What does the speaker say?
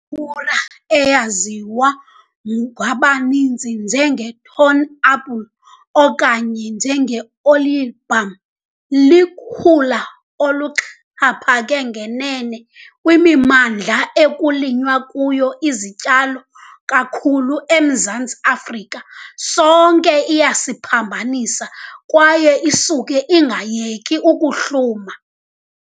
tura, eyaziwa ngokubanzi 'njengeThorn apple' okanye 'njenge-Olieboom', ilukhula oluxhaphake ngenene kwimimandla ekulinywa kuyo izityalo kakhulu eMzantsi Afrika. Sonke iyasiphambanisa kwaye isuke ingayeki ukuhluma.